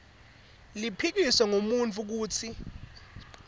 liphikiswe ngumuntfu kutsi